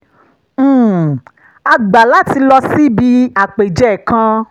um a gbà láti lọ síbi àpèjẹ kan